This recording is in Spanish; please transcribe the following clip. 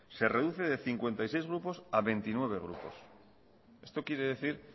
se reduce de cincuenta y seis grupos a veintinueve grupos esto quiere decir